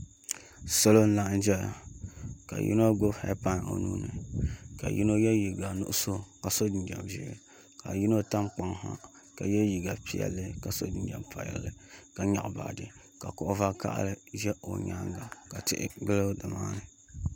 Salo n laɣam ʒɛya ka yino gbubi heed pai o nuuni ka yino yɛ liiga nuɣso ka so jinjɛm ʒiɛ ka yino tam kpaŋ ha ka yɛ liiga piɛlli ka so jinjɛm piɛlli ka nyaɣa baaji ka kuɣu vakaɣali ʒɛ o nyaanga ka tihi gili nimaani